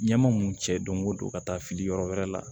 Ɲɛma mun cɛ don o don ka taa fili yɔrɔ wɛrɛ la